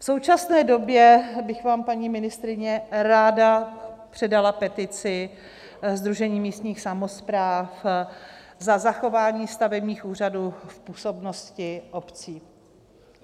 V současné době bych vám, paní ministryně, ráda předala petici Sdružení místních samospráv za zachování stavebních úřadů v působnosti obcí.